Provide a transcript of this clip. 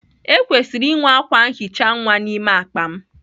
Ekwesịrị inwe akwa nhicha nwa n'ime akpa m.